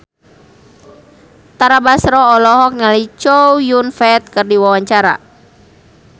Tara Basro olohok ningali Chow Yun Fat keur diwawancara